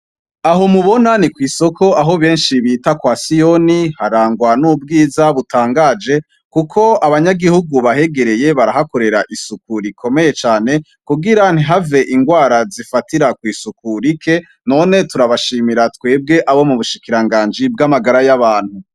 Aho mubona ni kw’isoko aho benshi bita kwa siyoni harangwa n’ubwiza butangaje kuko abanyagihugu bahegereye barahakorera isuku rikomeye cane kugira ntihave indwara zifatira kwisuku rike, noe turabashimira twebwe abo mubushikiranganji bw’amagara y’abantu.